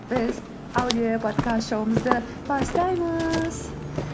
біз аудиоподкаст шоуымызды бастаймыз